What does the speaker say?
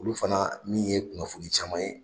Olu fana min ye kunnafoni caman ye.